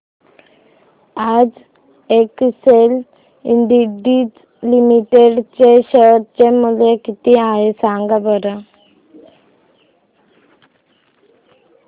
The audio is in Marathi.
आज एक्सेल इंडस्ट्रीज लिमिटेड चे शेअर चे मूल्य किती आहे सांगा बरं